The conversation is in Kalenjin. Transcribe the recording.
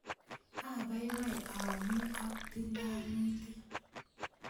Abaibai ami ak tilianutik